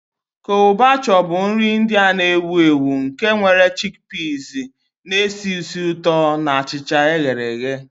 Chole Bhature bụ nri India ewu ewu nke nwere chickpeas na-esi ísì ụtọ na achịcha e ghere eghe.